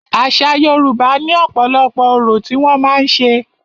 Àṣa Yorùbá ní ọ̀pọ̀lọpọ̀ orò tí wọ́n màá ń ṣe.